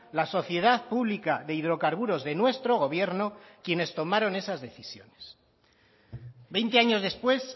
la sociedad pública de hidrocarburos de nuestro gobierno quienes tomaron esas decisiones veinte años después